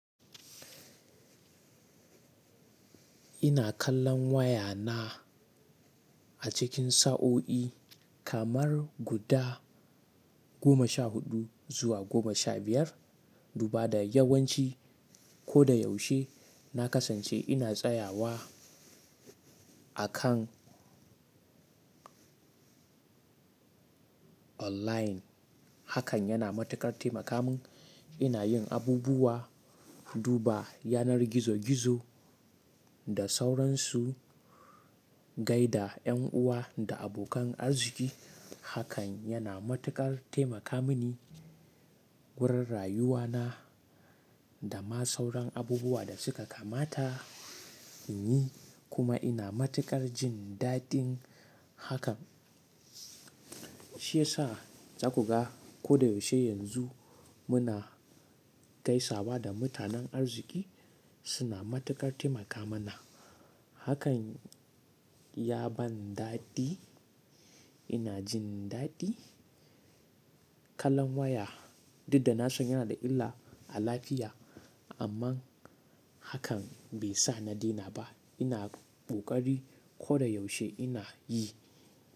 Ina kallon waya na a cikin sa'o'i kamar guda goma sha huɗu zuwa goma sha biyar. Duba da yawanci ko da yaushe na kasance ina tsayawa a kan online. Hakan yana matuƙar taimaka min. Ina yin abubuwa, duba yanar gizo-gizo da sauransu, gaida 'yan uwa da abokan arziki. Hakan yana matuƙar taimaka mini wurin rayuwana da ma sauran abubuwa da suka kamata in yi. Kuma ina matuƙar jindadin hakan. Shi yasa za ku ga ko da yaushe yanzu muna gaisawa da mutanen arziki suna matuƙar taimaka mana. Hakan ya ban daɗi. Ina jin daɗi kallon waya. Duk da na san yana da illa a lafiya. Amma hakan bai sa na daina ba. Ina ƙoƙari ko da yaushe ina yi.